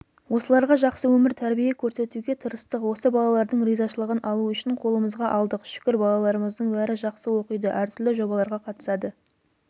осыларға жақсы өмір тәрбие көрсетуге тырыстық осы балалардың ризашылығын алу үшін қолымызға алдық шүкір балаларымыздың бәрі жақсы оқиды әртүрлі жобаларға қатысады